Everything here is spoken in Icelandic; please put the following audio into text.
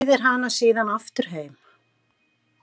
Leiðir hana síðan aftur heim.